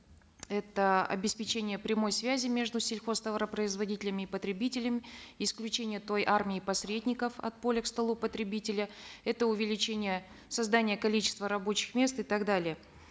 это обеспечение прямой связи между сельхозтоваропроизводителями и потребителями исключение той армии посредников от поля к столу потребителя это увеличение создания количества рабочих мест и так далее